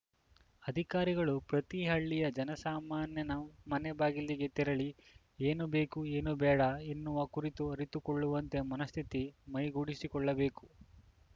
ಅಧಿಕಾರಿಗಳು ಪ್ರತಿ ಹಳ್ಳಿಯ ಜನಸಾಮಾನ್ಯನ ಮನೆ ಬಾಗಿಲಿಗೆ ತೆರಳಿ ಏನು ಬೇಕು ಏನು ಬೇಡ ಎನ್ನುವ ಕುರಿತು ಅರಿತುಕೊಳ್ಳುವಂತೆ ಮನಸ್ಥಿತಿ ಮೈಗೂಡಿಸಿಕೊಳ್ಳಬೇಕು